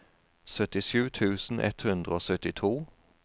syttisju tusen ett hundre og syttito